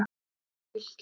Um Fylkir: